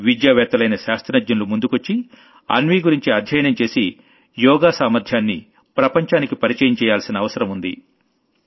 విద్యావేత్తలైన శాస్త్రజ్ఞులు ముందుకొచ్చి అన్వీ గురించి ఆధ్యయనం చేసి యోగా సామర్ధ్యాన్ని ప్రపంచానికి పరిచయం చెయ్యాల్సిన అవసరం ఉంది